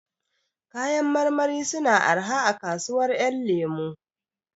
Kayan marmari suna araha a kasuwar ƴan lemo